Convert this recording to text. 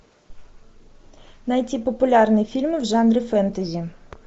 найти популярные фильмы в жанре фэнтези